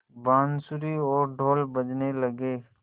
बाँसुरी और ढ़ोल बजने लगे